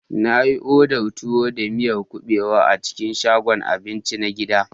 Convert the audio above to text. Na yi odar tuwo da miyar kuɓewa a cikin shagon abinci na gida.